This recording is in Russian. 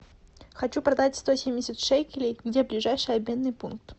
хочу продать сто семьдесят шекелей где ближайший обменный пункт